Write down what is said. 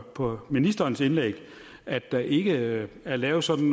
på ministerens indlæg at der ikke er lavet sådan